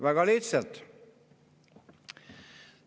Väga lihtsalt.